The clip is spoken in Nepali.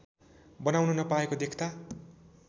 बनाउन नपाएको देख्दा